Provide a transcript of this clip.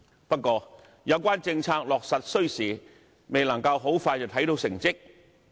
不過，有關政策落實需時，未能夠很快看到成績。